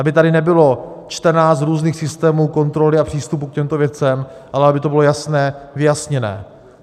Aby tady nebylo 14 různých systémů kontroly a přístupu k těmto věcem, ale aby to bylo jasné, vyjasněné.